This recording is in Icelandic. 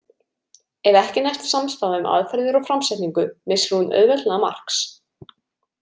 Ef ekki næst samstaða um aðferðir og framsetningu missir hún auðveldlega marks.